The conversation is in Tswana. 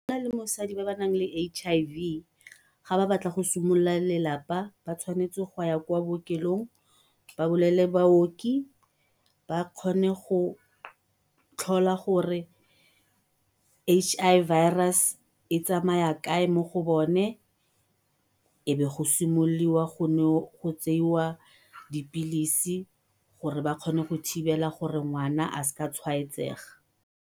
Monna le mosadi ba ba naleng H_I_V ga ba batla go simolola lelapa ba tshwanetse go ya kwa bookelong ba bolelele baoki ba kgone go tlhola gore H_I Virus e tsamaya kae mo go bone, e be go simololwa go tsewa dipilisi gore ba kgone go thibela gore ngwana a sa tshwaetsega.